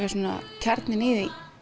er kjarninn í því